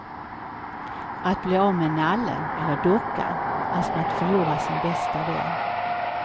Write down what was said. Att bli av med nallen eller dockan är som att förlora sin bästa vän.